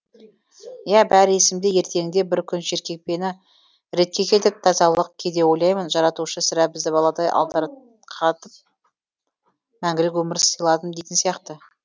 иә бәрі есімде ертеңінде бір күн жеркепені ретке келтіріп тазаладық кейде ойлаймын жаратушы сірә бізді баладай мәңгілік өмір сыйладым дейтін сияқты